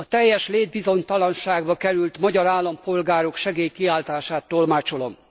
A teljes létbizonytalanságba került magyar állampolgárok segélykiáltását tolmácsolom.